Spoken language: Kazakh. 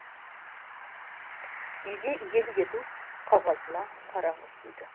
үйге иелік ету қағазына қараңыз дейді